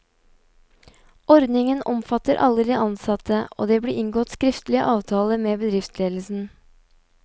Ordningen omfattet alle de ansatte, og det ble inngått skriftlig avtale med bedriftsledelsen.